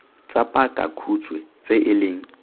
tsa pakakhutshwe tse e leng